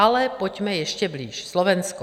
Ale pojďme ještě blíž - Slovensko.